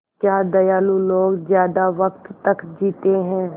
क्या दयालु लोग ज़्यादा वक़्त तक जीते हैं